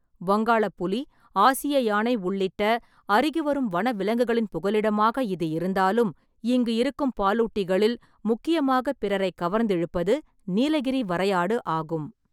வங்காளப் புலி, ஆசிய யானை உள்ளிட்ட அருகிவரும் வனவிலங்குகளின் புகலிடமாக இது இருந்தாலும் இங்கு இருக்கும் பாலூட்டிகளில் முக்கியமாகப் பிறரைக் கவர்ந்திழுப்பது நீலகிரி வரையாடு ஆகும்.